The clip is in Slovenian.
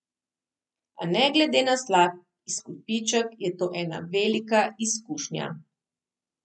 A ne glede na slab izkupiček, je to ena velika izkušnja.